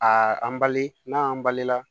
A an bali n'a y'an balila